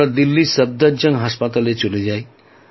আমরা দিল্লির সাফদারজাং হাসপাতালে চলে যাই